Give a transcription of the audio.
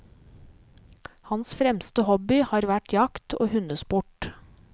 Hans fremste hobby har vært jakt og hundesport.